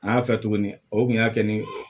An y'a fɛ tuguni o kun y'a kɛ ni